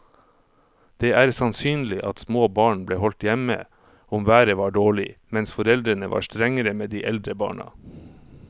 Det er sannsynlig at små barn ble holdt hjemme om været var dårlig, mens foreldrene var strengere med de eldre barna.